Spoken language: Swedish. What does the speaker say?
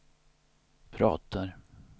pratar